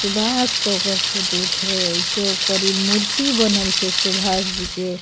Subhash photo छै चौक पर इ मूर्ति बनल छै सुभाष जी के।